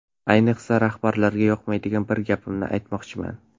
Ayniqsa rahbarlarga yoqmaydigan bir gapimni aytmoqchiman.